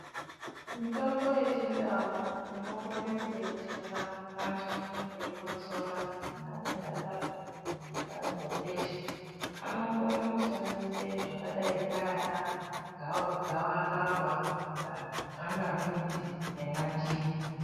Mitombo ye chindau ino kone ku detsera vantu vanenge veyi kotsora vanonga vaka pfeke mu kuhlani we besha anokona kushandisa zvakadai nana gava kava tsanga midzi ye ma ndimu .